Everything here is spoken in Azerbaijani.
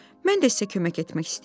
Mən də sizə kömək etmək istəyirdim.